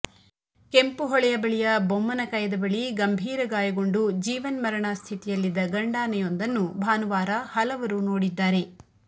ಕೆಂಪುಹೊಳೆಯ ಬಳಿಯ ಬೊಮ್ಮನಕಯದ ಬಳಿ ಗಂಭೀರ ಗಾಯಗೊಂಡು ಜೀವನ್ಮರಣ ಸ್ಥಿತಿಯಲ್ಲಿದ್ದ ಗಂಡಾನೆಯೊಂದನ್ನು ಭಾನುವಾರ ಹಲವರು ನೋಡಿದ್ದಾರೆ